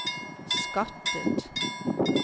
skattet